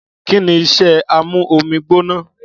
Kìní ìsẹ àmú òmí gbónà?